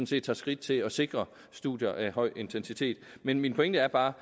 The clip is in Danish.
set tager skridt til at sikre studier af høj intensitet men min pointe er bare